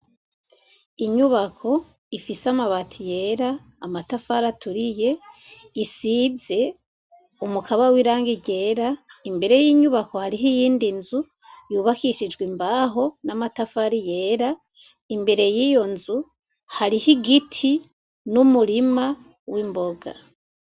Inyubako ifise amabati yera amatafari aturiye isize umukaba w'irangi ryera imbere y'inyubako hariho iyindi nzu yubakishijwe imbaho n'amatafari yera imbere y'iyo nzu hariho igiti n'umurima w'imboga